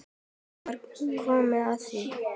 Nú var komið að því!